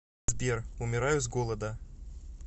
сбер умираю с голода